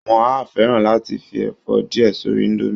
Wọ́n á fẹ́ràn láti fi ẹ̀fọ́ díẹ̀ sórí indomie